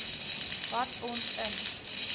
wat ons in